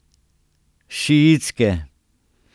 Šiitske.